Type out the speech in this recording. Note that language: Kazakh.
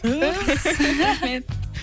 уф рахмет